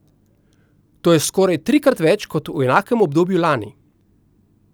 To je skoraj trikrat več kot v enakem obdobju lani.